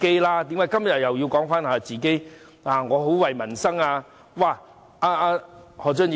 為何他們今天又說自己很為民生着想？